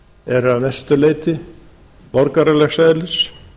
er að mestu leyti borgaralegs eðlis